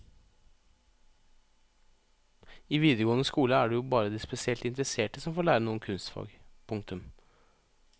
I videregående skole er det jo bare de spesielt interesserte som får lære noe om kunstfag. punktum